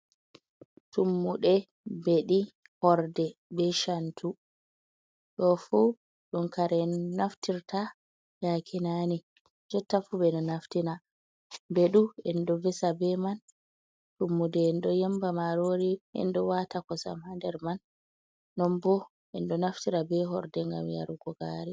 Tummuɗe, beɗi, horde, be chantu. Ɗo fu ɗun kare naftirta yakinani, jotta fu ɓe ɗo naftina, ɓeɗu endo visira be man, tummude enɗo yimba marori, enɗo wata kosam ha nder man, non bo enɗo naftira be horde ngam yarugo gari.